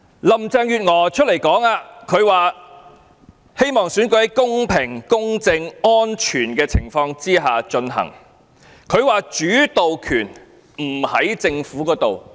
林鄭月娥表示，希望選舉在公平公正安全的情況下進行，她說主導權不在政府這裏。